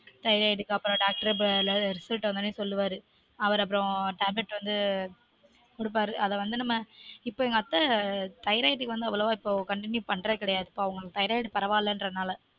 thyroid க்கு அப்புரம் doctorresult வந்த உடனே சொல்லுவாரு அவரு அப்புறம் tablet வந்து குடுப்பாரு அத வந்து நம்ம இப்பொ எங்க அத்த thyroid அவ்வளவா இப்பொ continue பண்ற கிடையாது இப்ப அவங்களுக்கு பரவாலன்றனால